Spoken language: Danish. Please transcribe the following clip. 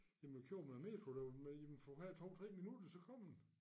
Jamen vi kørte med æ metro derovre med jamen for hver 2 3 minutter så kommer den